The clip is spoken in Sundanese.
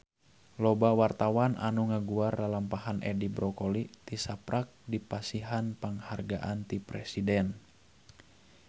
Loba wartawan anu ngaguar lalampahan Edi Brokoli tisaprak dipasihan panghargaan ti Presiden